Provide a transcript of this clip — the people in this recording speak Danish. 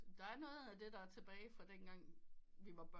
Der er noget af det der et tilbage fra dengang vi var børn